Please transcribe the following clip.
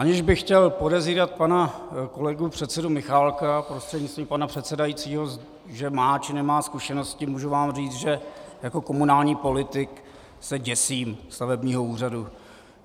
Aniž bych chtěl podezírat pana kolegu předsedu Michálka prostřednictvím pana předsedajícího, že má či nemá zkušenosti, můžu vám říct, že jako komunální politik se děsím stavebního úřadu.